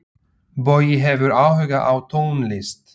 Bogi hefur áhuga á tónlist.